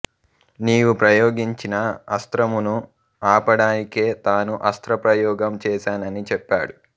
నీవు ప్రయోగించిన అస్త్రమును ఆపడానికే తాను అస్త్ర ప్రయోగం చేసానని చెప్పాడు